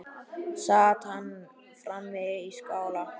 Sat hann frammi í skála.